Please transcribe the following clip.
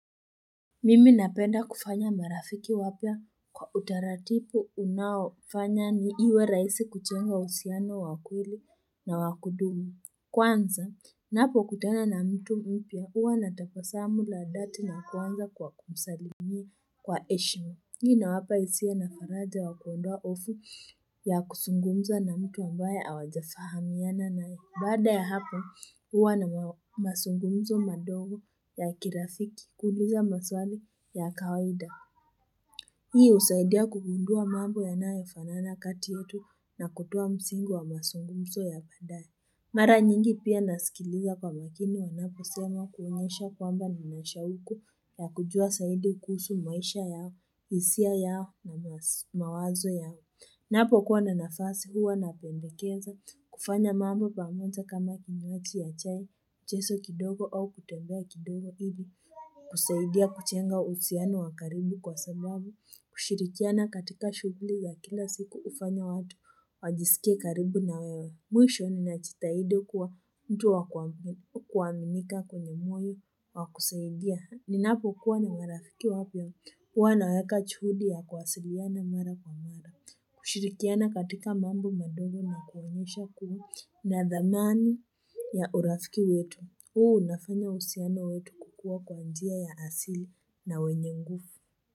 Mimi napenda kufanya marafiki wapya kwa utaratibu unaofanya iwe rahisi kujenga uhusiano wa kweli na wakudumi. Kwanza, napokutana na mtu mpya huwa natabasamu la dhati na kwanza kwa kumsalimi kwa heshim. Hii inawapa hisia na faraja wa kuondoa hofu ya kuzungumza na mtu ambaye hawajafahamiana nae. Baada ya hapo huwa na masungumzo madogo ya kirafiki kuuliza maswali ya kawaida. Hii husaidia kugundua mambo yanayofanana kati yetu na kutoa msingi wa masungumzo ya baadaye. Mara nyingi pia nasikilia kwa wajina yanapo sema kuonyesha kwamba ninameshauku ya kujua zaidi kukusu maisha yao, hisia yao na mawazo yao. Napokuwa na nafasi huwa napendekeza, kufanya mambo pamoja kama kinywaji ya chai, mcheso au kutembea kidogo hivi, kusaidia kujenga uhusiano wa karibu kwa sababu, kushirikiana katika shughuli ya kila siku hufanya watu, wajisikie karibu na wewe. Mwisho ni na jitahidi kuwa mtu wa kuwa kuwaminika kwenye moyo wa kusaidia. Ninapo kuwa na marafiki wapya. Huwa naweka juhudi ya kuwasiliana mara kwa mara. Kushirikiana katika mambo madogo na kuonyesha kuwa na dhamani ya urafiki wetu. Huu unafanya uhusiano wetu kukua kwa njia ya asili na wenye ngufu.